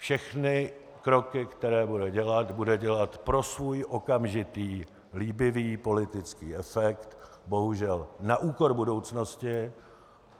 Všechny kroky, které bude dělat, bude dělat pro svůj okamžitý líbivý politický efekt, bohužel na úkor budoucnosti.